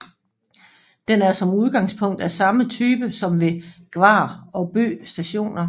Den er som udgangspunkt af samme type som ved Gvarv og Bø Stationer